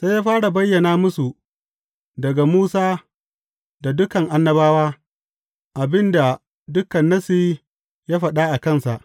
Sai ya fara bayyana musu daga Musa da dukan Annabawa, abin da dukan Nassi ya faɗa a kansa.